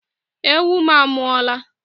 Ewu m a mụọla o!